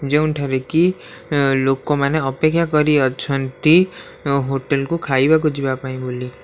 ଯେଉଁଠାରେ କି ଅ ଲୋକମାନେ ଅପେକ୍ଷା କରି ଅଛନ୍ତି ହୋଟେଲ୍ କୁ ଖାଇବାକୁ ଯିବା ପାଇଁ ବୋଲି।